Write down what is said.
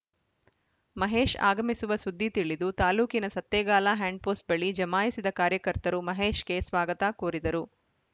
ಮಹೇಶ್‌ ಆಗಮಿಸುವ ಸುದ್ದಿ ತಿಳಿದು ತಾಲೂಕಿನ ಸತ್ತೇಗಾಲ ಹ್ಯಾಂಡ್‌ಪೋಸ್ಟ್‌ ಬಳಿ ಜಮಾಯಿಸಿದ ಕಾರ್ಯಕರ್ತರು ಮಹೇಶ್‌ಗೆ ಸ್ವಾಗತ ಕೋರಿದರು